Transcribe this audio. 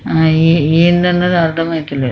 ఆ ఎమ్ తిన్నాడో అర్ధం అయితలేదు.